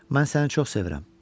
Mən səni çox sevirəm.